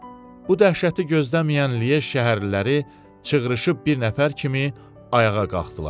Bu dəhşəti gözləməyən Lyej şəhərliləri çığrışıb bir nəfər kimi ayağa qalxdılar.